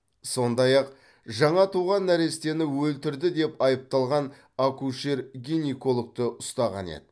сондай ақ жаңа туған нәрестені өлтірді деп айыпталған акушер гинекологты ұстаған еді